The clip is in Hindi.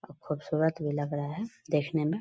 खूबसूरत भी लग रहा है देखने में।